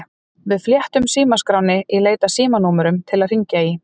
Við flettum símaskránni í leit að símanúmerum til að hringja í.